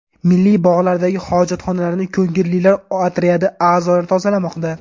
Milliy bog‘lardagi hojatxonalarni ko‘ngillilar otryadi a’zolari tozalamoqda.